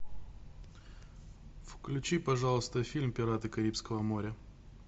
включи пожалуйста фильм пираты карибского моря